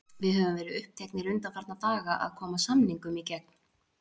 Við höfum verið uppteknir undanfarna daga að koma samningum í gegn.